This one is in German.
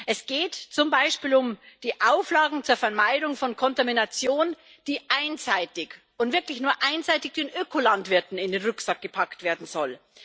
Es geht zum Beispiel um die Auflagen zur Vermeidung von Kontamination, die einseitig und wirklich nur einseitig den Ökolandwirten in den Rucksack gepackt werden soll.